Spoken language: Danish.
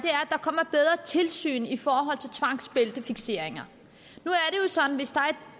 er tilsyn i forhold til tvangsbæltefikseringer